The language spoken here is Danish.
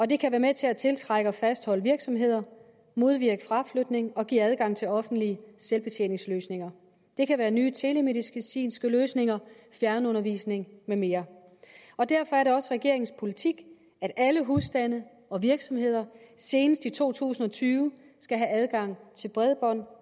det kan være med til at tiltrække og fastholde virksomheder modvirke fraflytning og give adgang til offentlige selvbetjeningsløsninger det kan være nye telemedicinske løsninger fjernundervisning med mere derfor er det også regeringens politik at alle husstande og virksomheder senest i to tusind og tyve skal have adgang til bredbånd